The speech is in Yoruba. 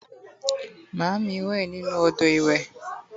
maami nwe ninu odo iwe